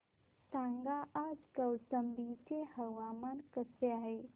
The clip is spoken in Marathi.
सांगा आज कौशंबी चे हवामान कसे आहे